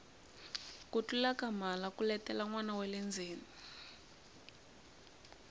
ku tlula ka mhala ku letela nwana wale ndzeni